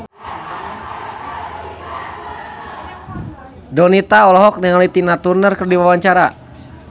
Donita olohok ningali Tina Turner keur diwawancara